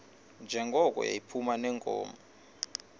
njengoko yayiphuma neenkomo